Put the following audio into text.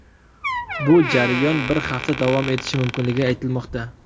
Bu jarayon bir hafta davom etishi mumkinligi aytilmoqda.